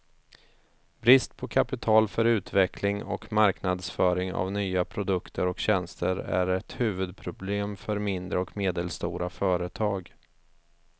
Brist på kapital för utveckling och marknadsföring av nya produkter och tjänster är ett huvudproblem för mindre och medelstora företag.